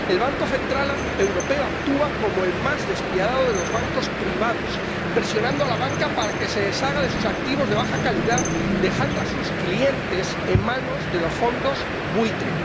El Banco Central Europeo actúa como el más despiadado de los bancos privados, presionando a la banca para que se deshaga de sus activos de baja calidad, dejando a sus clientes en manos de los fondos buitre.